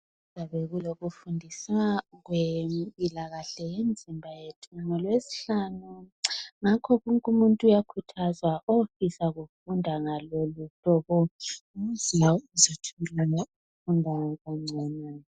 Ķuyabe kulokufundisa kwempilakahle ngemizimba yethu ngolwesihlanu ngakho wonke umuntu uyakhuthazwa ofisa ukufunda ngaloluhlobo ukuze azitholele ukufunda kangcono.